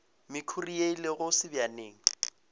mekhuri ye e lego sebjaneng